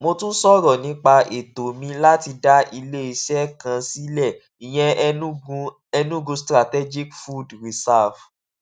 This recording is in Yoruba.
mo tún sọrọ nípa ètò mi láti dá iléeṣẹ kan sílẹ ìyẹn enugu enugu strategic food reserve